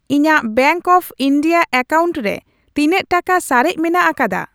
ᱤᱧᱟᱜ bank of India account ᱨᱮ ᱛᱤᱱᱟᱹᱜ ᱴᱟᱠᱟ ᱥᱟᱨᱮᱡ ᱢᱮᱱᱟᱜ ᱟᱠᱟᱫᱟ ?